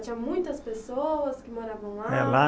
Tinha muitas pessoas que moravam lá? É lá